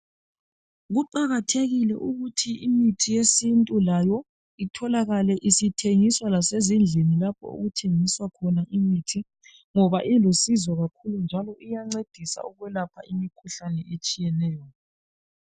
Kuqakathekile ukuthi imithi yesintu layo itholakale isithengiswa lasezindlini lapho okuthengiswa khona imithi ngoba ilusizo kakhulu njalo iyancedisa ukwelapha imikhuhlane etshiyetshiyeneyo.